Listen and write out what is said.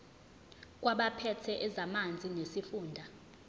kwabaphethe ezamanzi nesifunda